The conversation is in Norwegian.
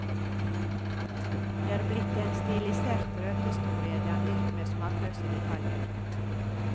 Det er blitt en stilisert røverhistorie dandert med smakløse detaljer.